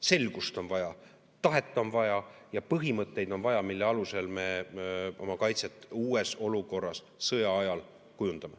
Selgust on vaja, tahet on vaja ja põhimõtteid on vaja, mille alusel me oma kaitset uues olukorras sõja ajal kujundame.